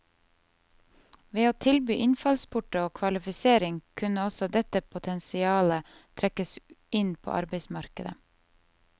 Ved å tilby innfallsporter og kvalifisering kunne også dette potensialet trekkes inn på arbeidsmarkedet.